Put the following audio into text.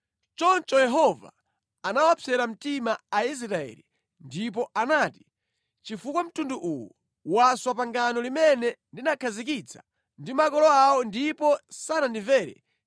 Choncho Yehova anawapsera mtima Aisraeli ndipo anati, “Chifukwa mtundu uwu waswa pangano limene ndinakhazikitsa ndi makolo awo ndipo sanandimvere,